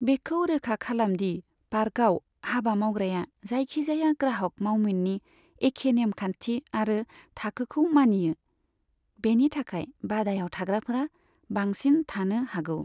बेखौ रोखा खालामदि पार्कआव हाबा मावग्राया जाइखि जाया ग्राहक मावमिननि एखे नेमखान्थि आरो थाखोखौ मानियो, बेनि थाखाय बादायाव थाग्राफोरा बांसिन थानो हागौ।